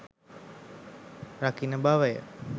රකින බවය.